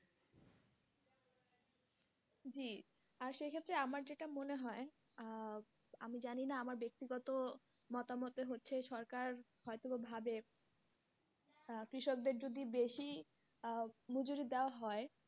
জি আর সেক্ষেত্রে আমার যেটা মনে হয় আহ আমি জানিনা আমার বেক্তিগত মতামত হচ্ছে যে সরকার হয়তো ভাবে আহ কৃষক দের যদি বেশি আহ মজুরি দেওয়া হয়,